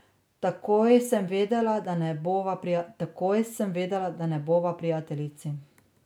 Takoj sem vedela, da ne bova prijateljici.